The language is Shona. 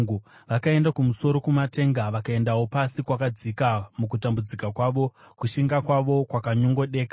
Vakaenda kumusoro kumatenga vakaendawo pasi kwakadzika; mukutambudzika kwavo kushinga kwavo kwakanyongodeka.